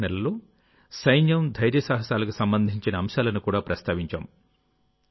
December నెలలో సైన్యం ధైర్యసాహసాలకు సంబంధించిన అంశాలను కూడా ప్రస్తావించాం